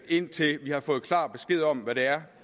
indtil vi har fået klar besked om hvad det er